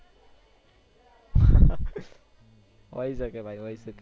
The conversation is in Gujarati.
હોઈ સકે ભાઈ હોઈ સકે